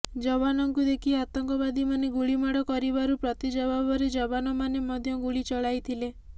ଯବାନଙ୍କୁ ଦେଖି ଆତଙ୍କବାଦୀମାନେ ଗୁଳିମାଡ଼ କରିବାରୁ ପ୍ରତି ଜବାବରେ ଯବାନମାନେ ମଧ୍ୟ ଗୁଳି ଚଳାଇଥିଲେ